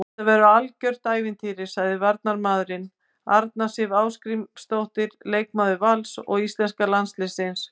Þetta verður algjört ævintýri, sagði varnarmaðurinn, Arna Sif Ásgrímsdóttir leikmaður Vals og íslenska landsliðsins.